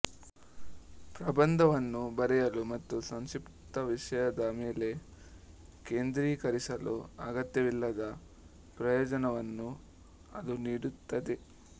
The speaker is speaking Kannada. ಪ್ರಬಂಧವನ್ನು ಬರೆಯಲು ಮತ್ತು ಸಂಕ್ಷಿಪ್ತ ವಿಷಯದ ಮೇಲೆ ಕೇಂದ್ರೀಕರಿಸಲು ಅಗತ್ಯವಿಲ್ಲದ ಪ್ರಯೋಜನವನ್ನು ಅದು ನೀಡುತ್ತದೆ